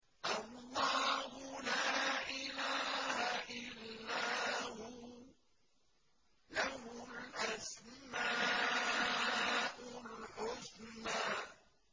اللَّهُ لَا إِلَٰهَ إِلَّا هُوَ ۖ لَهُ الْأَسْمَاءُ الْحُسْنَىٰ